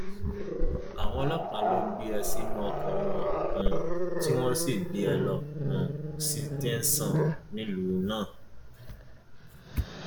àwọn ọlọpàá ló gbé e sínú ọkọ wọn um tí wọn sì gbé e lọ um sí tẹsán nílùú náà